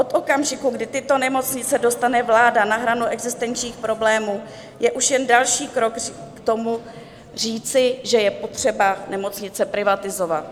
Od okamžiku, kdy tyto nemocnice dostane vláda na hranu existenčních problémů, je už jen další krok k tomu, říci, že je potřeba nemocnice privatizovat.